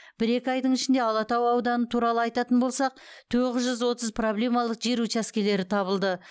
бір екі айдың ішінде алатау ауданы туралы айтатын болсақ тоғыз жүз отыз проблемалық жер учаскелері табылды